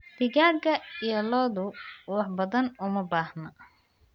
Digaagga iyo lo'du wax badan uma baahna.